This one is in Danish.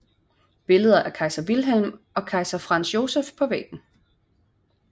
Billeder af kejser Wilhelm og kejser Franz Joseph på væggen